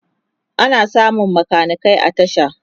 ana samun makanikai a tasha